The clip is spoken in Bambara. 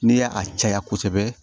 N'i y'a caya kosɛbɛ